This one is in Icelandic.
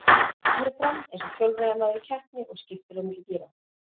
Hann hallar sér fram eins og hjólreiðamaður í keppni og skiptir á milli gíra.